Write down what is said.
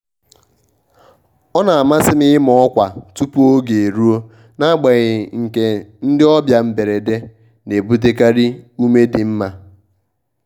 ọ na-amasị m ịma ọkwa tupu oge eruo n'agbanyeghị nkea ndị ọbịa mberede na-ebutekarị ume dị mma.